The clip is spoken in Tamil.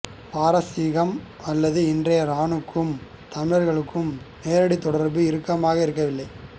பாரசீகம் அல்லது இன்றைய இரானுக்கும் தமிழர்களும் நேரடித் தொடர்பு இறுக்கமாக இருக்கவில்லை